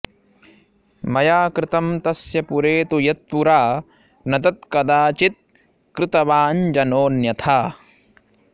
मया कृतं तस्य पुरे तु यत्पुरा न तत्कदाचित्कृतवाञ्जनोऽन्यथा